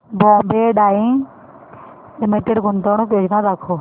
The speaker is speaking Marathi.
बॉम्बे डाईंग लिमिटेड गुंतवणूक योजना दाखव